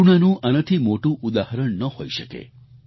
કરૂણાનું આનાથી મોટું ઉદાહરણ ન હોઈ શકે